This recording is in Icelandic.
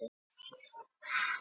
Nesjavellir og Krafla.